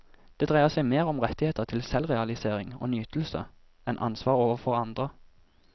Det dreier seg mer om rettigheter til selvrealisering og nytelse enn ansvar overfor andre.